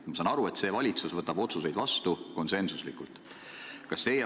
Ma saan aru, et see valitsus võtab otsuseid vastu konsensusega.